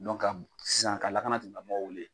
ka mun sisan ka lakana tigi lamɔgɔw wele.